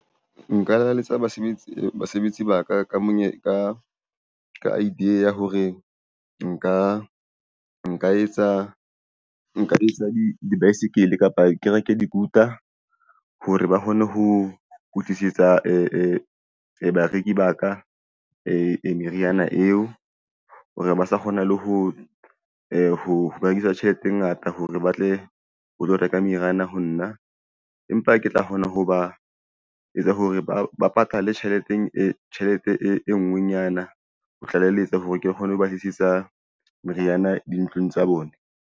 Nka lakalletsa basebetsi, basebetsi ba ka monyaka idea hore nka etsa dibaesekele kapa kereke dikuta, hore ba kgone ho tlisetsa bareki ba ka meriana eo hore ba sa kgona le ho berekisa tjhelete e ngata hore ba tle ho tlo reka meriana ho nna, empa ke tla kgona ho ba etsa hore ba ba patale tjhelete e nngwe nyana ho tlaleletsa hore ke kgone ho batlisisa meriana dintlong tsa bona.